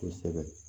Kosɛbɛ